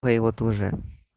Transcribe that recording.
моего тоже